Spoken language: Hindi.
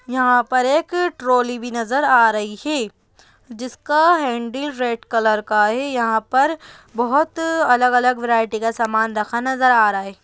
यहाँ पर एक ट्रॉली भी नजर आ रही हैं जिसका हैंडिल रेड कलर का है यहाँ पर बोहोत अलग-अलग वैराइटी का समान रखा नजर आ रहा है।